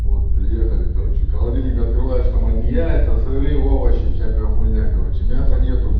вот приехали короче холодильник открываешь там одни яйца сырые овощи всякая хуйня короче мяса нету